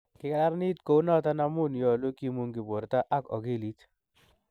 Kigarananiit kounoton amuun yoluu kimungi borto ak okiliit.